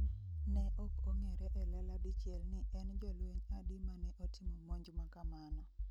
ne ok ong'ere elela dichiel ni en jolweny adi mane otimo monj makamano